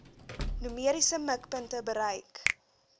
numeriese mikpunte bereik